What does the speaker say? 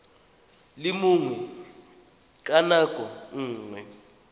le mongwe ka nako nngwe